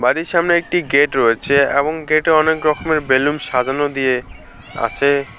বাড়ির সামনে একটি গেট রয়েছে এবং গেটে অনেক রকমের বেলুন সাজানো দিয়ে আছে।